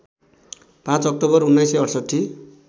५ October १९६८